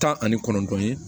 Tan ani kɔnɔntɔn ye